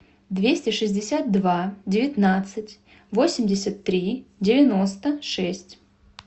двести шестьдесят два девятнадцать восемьдесят три девяносто шесть